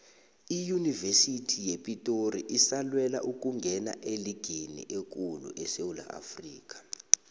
iyunivesithi yepitori isalwela ukungena eligini ekulu esewula afrikha